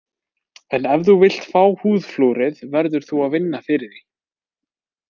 En ef þú vilt fá húðflúrið verður þú að vinna fyrir því.